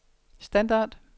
standard